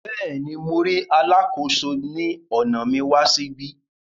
Béèni, Mo ríi Alàkóso ni ọna mi wà síbí